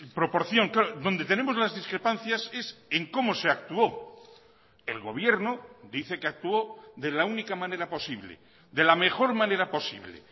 proporción claro donde tenemos las discrepancias es en cómo se actuó el gobierno dice que actuó de la única manera posible de la mejor manera posible